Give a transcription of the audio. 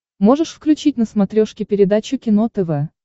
можешь включить на смотрешке передачу кино тв